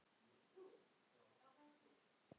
Er einhver lausn í augsýn?